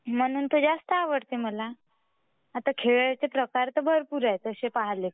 म्हणून तर जास्त आवडते मला आता खेळाचे प्रकार ताशे भरपूर आहे ताशे पहिले.